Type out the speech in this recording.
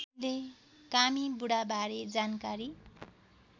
कामी बुढाबारे जानकार